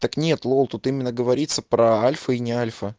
так нет лол тут именно говорится про альфа и не альфа